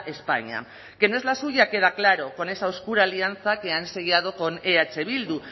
españa que no es la suya queda claro con esa oscura alianza que han sellado con eh bildu